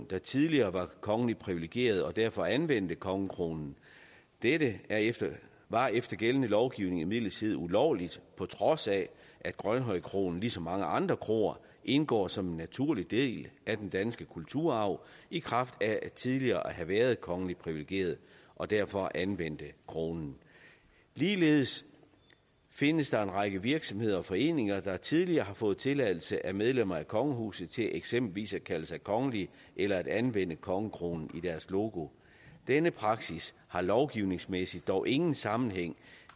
der tidligere var kongeligt privilegeret og derfor anvendte kongekronen dette var efter gældende lovgivning imidlertid ulovligt på trods af at grønhøj kro ligesom mange andre kroer indgår som en naturlig del af den danske kulturarv i kraft af tidligere at have været kongeligt privilegeret og derfor anvendte kronen ligeledes findes der en række virksomheder og foreninger der tidligere har fået tilladelse af medlemmer af kongehuset til eksempelvis at kalde sig kongelige eller at anvende kongekronen i deres logo denne praksis har lovgivningsmæssigt dog ingen sammenhæng